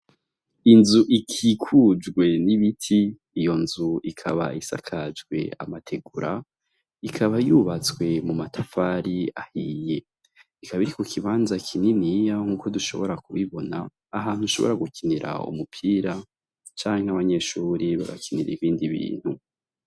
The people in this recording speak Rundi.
Inzu ikikujwe n'ibiti, iyo nzu ikaba isakajwe amategura, ikaba yubatswe mumatafari ahiye, ikaba iri kukibanza kininiya nkuko dushobora kubibona, ahantu ushobora gukinira umupira, canke abanyeshuri bagakinira ibindi bintu.